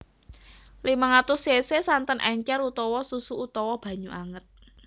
limang atus cc santen encer utawa susu utawa banyu anget